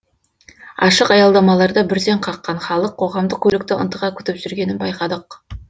ашық аялдамаларда бүрсең қаққан халық қоғамдық көлікті ынтыға күтіп жүргенін байқадық